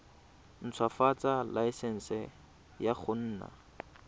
ntshwafatsa laesense ya go nna